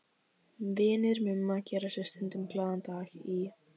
Vinir Mumma gera sér stundum glaðan dag í